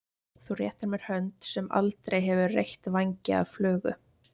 Þú réttir mér hönd sem aldrei hefur reytt vængi af flugu.